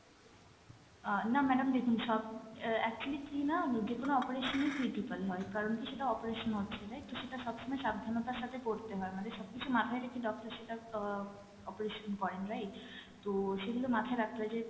আহ না madam দেখুন সব অ্যাঁ actually কী ma'am যেকোনো operation ই critical হয় কারন কী সেটা operation হচ্ছে right? তো সেটা সবসময় সাবধানতার সাথে করতে হয় আমাদের সবকিছু মাথায় রেখে doctor সেটা আহ operation করেন right? তো সেগুলো মাথায় রাখতে হয় যে